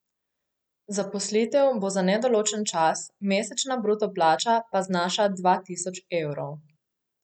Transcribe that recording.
Zaposlitev bo za nedoločen čas, mesečna bruto plača pa znaša dva tisoč evrov.